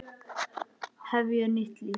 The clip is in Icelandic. Hefja nýtt líf.